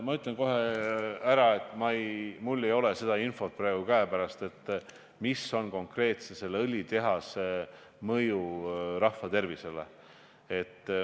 Ma ütlen kohe ära, et mul ei ole praegu seda infot, milline on õlitehase mõju rahvatervisele, käepärast.